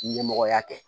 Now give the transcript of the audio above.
Ɲɛmɔgɔya kɛ